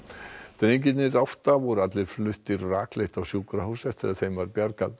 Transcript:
drengirnir átta voru allir fluttir rakleitt á sjúkrahús eftir að þeim var bjargað